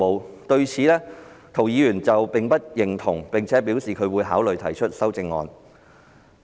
涂謹申議員對此不表認同，並表示會考慮提出修正案。